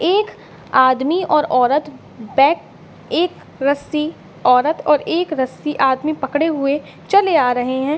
एक आदमी और औरत बैक एक रस्सी औरत और एक रस्सी आदमी पकड़े हुए चले आ रहें है।